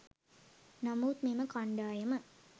නමුත් මෙම කණ්ඩායම